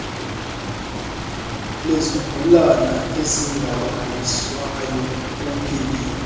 lezigulana ezingalaliswayo opd